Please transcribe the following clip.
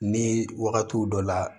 Ni wagatiw dɔ la